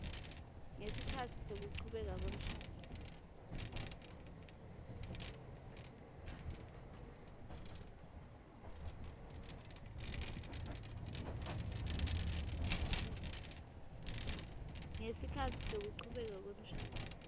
ngesikhatsi sekuchubeka kwemshado